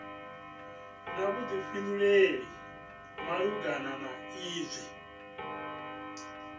na vhuḓifhinduleli malugana na izwi